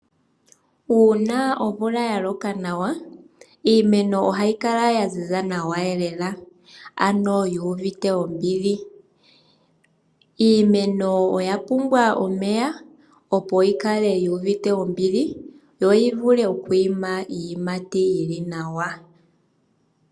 Uuna omvula yaloka nawa iimeno ohayi kala ya ziza nawa lela. ano yu uvite ombili .iimenl oyapumbwa omeya opo yikale yu uvite ombili yo yivule oku ima iiyimati iiwanawa.